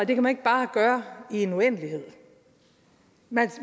det kan man ikke bare gøre i en uendelighed